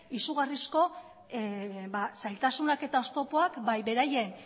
izugarrizko zailtasunak eta oztopoak bai beraien